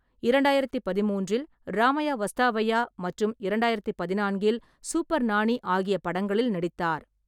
இரண்டாயிரத்து பதின்மூன்றில் ராமையா வஸ்தவையா மற்றும் இரண்டாயிரத்து பதினான்கில் சூப்பர் நானி ஆகிய படங்களில் நடித்தார்.